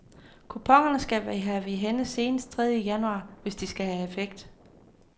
Kuponerne skal vi have i hænde senest tredje januar, hvis de skal have effekt.